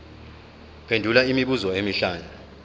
phendula imibuzo emihlanu